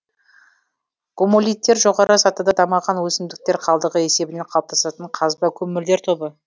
гумолиттер жоғары сатыда дамыған өсімдіктер қалдығы есебінен қалыптасатын қазба көмірлер тобы